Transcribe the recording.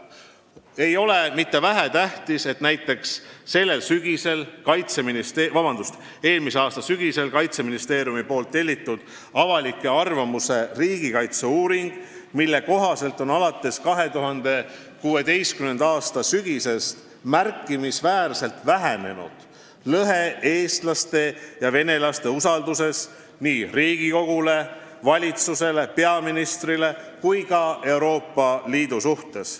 See ei ole vähetähtis, et näiteks eelmise aasta sügisel Kaitseministeeriumi tellitud uuring "Avalik arvamus ja riigikaitse" näitab, et alates 2016. aasta sügisest on märkimisväärselt vähenenud lõhe eestlaste ja venelaste usalduses nii Riigikogu, valitsuse, peaministri kui ka Euroopa Liidu suhtes.